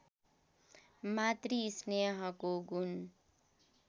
मातृ स्नेहको गुण